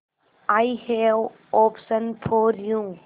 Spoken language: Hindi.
I have option for you